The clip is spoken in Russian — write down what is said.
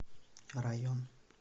район